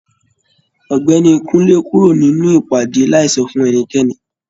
Ọ̀gbẹ́ni Kunle kúrò nínú ìpàdé láì sọ fún ẹnikẹ́ni.